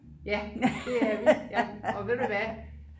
ja det er vi ja og ved du hvad